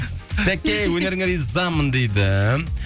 сәке өнеріңе ризамын дейді